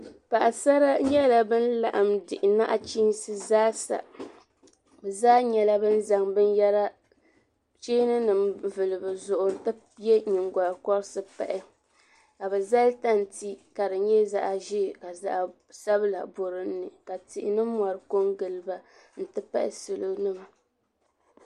paɣasara nyɛla bin laɣim diɣi naɣchiinsi zaa sa be zaa nyɛla bin zaŋ bin yara cheeni nim vuli be zuɣu ti yɛ nyingokɔrisi pahi ka be zali tante ka di nye zaɣaʒee ka zaɣa sabila borinli ka tihi ni mori ko n giliba n ti pahi salo nima.